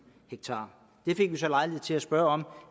ha det fik vi så lejlighed til at spørge om